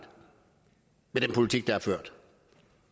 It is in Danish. med den politik man har ført